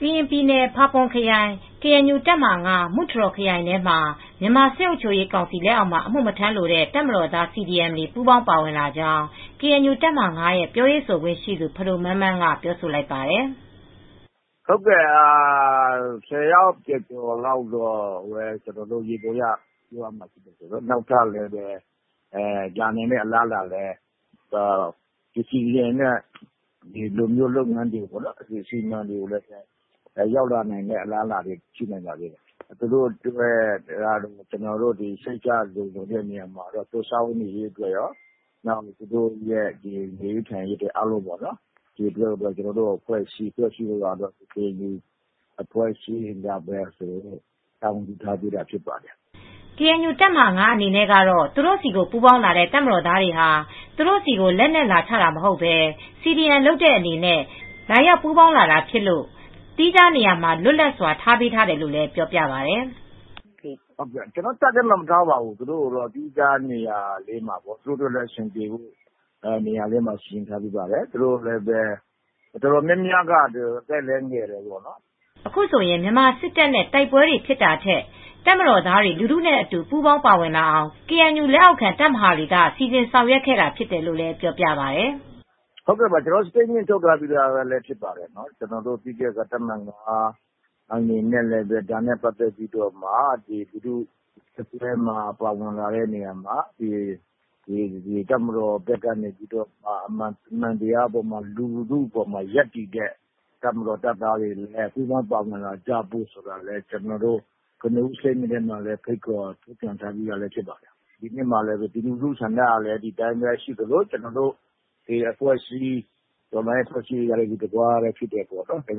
ကရင်ပြည်နယ်၊ ဖာပွန်ခရိုင်၊ ကေအန်ယူ တပ်မဟာ(၅)မူထရော်ခရိုင်ထဲမှာ မြန်မာစစ်အုပ်ချုပ်ရေးကောင်စီ လက်အောက်မှာ အမူ့မထမ်းလိုတဲ့ တပ်မတော်သား CDM တွေ ပူးပေါင်းပါဝင်လာကြောင်း ကေအန်ယူတပ်မဟာ(၅)ရဲ့ ပြောရေးဆိုခွင့်ရှိသူ ဖဒိုမန်းမန်းက ပြောဆိုလိုက်ပါတယ်။ “ ဟုတ်ကဲ့ ၁၀ယောက်ကျော်ကျော်လောက်တော့ ကျနော်တို့ ယေဘူယျပြောရမယ်နောက်ထပ် လာနိုင်တဲ့အလားအလာလည်းရှိတယ် CDM တွေ လုပ်မယ့်ဟာတွေ အစီအမံတွေ ရောက်လာနိုင်မယ့် အလားအလာတွေလည်း ရှိပါသေးတယ်။ ကျနော်တို့က သူတို့ကို စိတ်ချလုံခြုံတဲ့ နေရာမှာရော နောက် သူတို့ စားဝတ်နေရေးနဲ့ သူတို့ နေထိုင်ရေးအားလုံး ကျနော်တို့ လက်ရှိ ကေအန်ယူက တာဝန်ယူပေးထားတာ ဖြစ်ပါတယ်။” ကေအန်ယူတပ်မဟာ(၅)အနေနဲ့ ကတော့ သူတို့ ဆီကိုပူးပေါင်းလာတဲ့ တပ်မတော်သားတွေဟာ သူတို့ဆီကိုလက်နက်ချတာမဟုတ်ပဲCDM လုပ်တဲ့အနေနဲ့ ပူးပေါင်းလာတာဖြစ်လို့ သီးခြားနေရာမှာ လွတ်လပ်စွာထားပေးထားတယ်လို့လည်းပြောပါတယ်။ “ ကျနော်တို့ တပ်ထဲမှာမထားပါဘူး။ သူတို့ကို သီးခြားနေရာမှာထားပေးထားတာဖြစ်ပါတယ်။ သူတို့လည်း အဆင်ပြေအောင်ပေါ့။ သူတို့ တော်တော်များမျာက အသက်လည်းငယ်တယ်။” အခုဆိုရင် မြန်မာစစ်တပ်နဲ့ တိုက်ပွဲတွေ ဖြစ်တာထက် တပ်မတော်သားတွေ လူထုနဲ့ အတူ ပူးပေါင်းပါဝင်လာအောင် ကေအန်ယူ လက်အောက်ခံတပ်မဟာတွေက စီစဉ်ဆောင်ရွက်ခဲ့တာ ဖြစ်တယ်လို့လည်း ပြောပြပါတယ်။ “ဟုတ်ကဲ့ ကျနော်တို့ ကြေညာချက်ထုတ်ပြီးသားလည်း ဖြစ်ပါတယ်။ တပ်မဟာ (၅)အနေနဲ့လည်း ဒါနဲ့ ပတ်သက်ပြီးတော့လူထုအတွင်း ပါဝင်လာတဲ့နေရာမှာ တပ်မတော်ဘက်ကနေ အမှန်တရားပေါ်မှာ လူထုအပေါ်မှာ ရပ်တည်တဲ့ တပ်မတော်တပ်သားတွေ အနေနဲ့ ပူးပေါင်းပါဝင်လာဖို့ ကျနော်တို့ ကနဦးကြေညာချက်ထဲမှာလည်း ဖိတ်ခေါ်ပြီးသားပါ။ ဒီကနေ့မှာလည်း ပြည်သူလူထု ဆန္ဒကလည်း ဒီအတိုင်းပဲ ရှိသလို ကျနော်တို့ တော်လှန်ရေးအဖွဲ့အစည်းတွေကလည်း ဒီသဘောထားရှိပါတယ်။ ဒါကြောင့် တ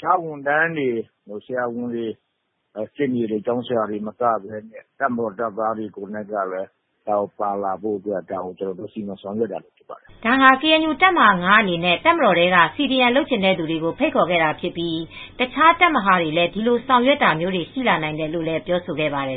ခြားဝန်ထမ်းတွေ ဆရာဝန်တွေ၊ ရှေ့နေတွေ ၊ ကျောင်းဆရာတွေ သာမကပဲ တပ်မတော်သားတွေလည်း ပါဝင်လာဖို့ကျနော်တို့ စီမံဆောင်ရွက်တာဖြစ်ပါတယ်။” ဒါဟာ ကေအန်ယူတပ်မဟာ(၅)အနေနဲ့တပ်မတော်ထဲက CDM လုပ်ချင်တဲ့သူတွေကို ဖိတ်ခေါ်ခဲ့တာဖြစ်ပြီး တခြားတပ်မဟာတွေလည်း ဒီလိုဆောင်ရွက်တာမျိုးတွေ ရှိနိုင်တယ်လို့ ပြောဆိုခဲ့ပါတယ်